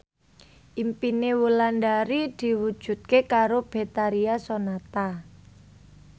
impine Wulandari diwujudke karo Betharia Sonata